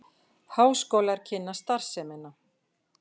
Háskólar kynna starfsemina